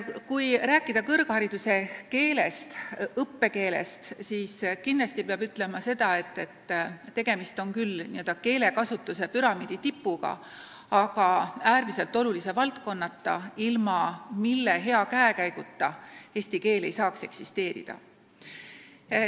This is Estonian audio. Kui rääkida kõrghariduse õppekeelest, siis peab kindlasti ütlema seda, et tegemist on küll n-ö keelekasutuse püramiidi tipuga, aga äärmiselt olulise teguriga, ilma milleta eesti keel ei saaks eksisteerida.